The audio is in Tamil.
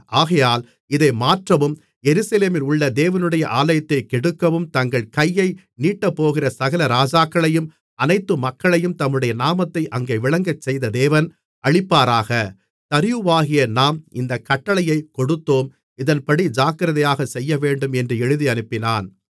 ஆகையால் இதை மாற்றவும் எருசலேமிலுள்ள தேவனுடைய ஆலயத்தைக் கெடுக்கவும் தங்கள் கையை நீட்டப்போகிற சகல ராஜாக்களையும் அனைத்து மக்களையும் தம்முடைய நாமத்தை அங்கே விளங்கச் செய்த தேவன் அழிப்பாராக தரியுவாகிய நாம் இந்தக் கட்டளையைக் கொடுத்தோம் இதன்படி ஜாக்கிரதையாக செய்யவேண்டும் என்று எழுதியனுப்பினான்